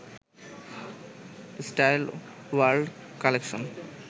style world collection